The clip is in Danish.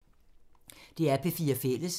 DR P4 Fælles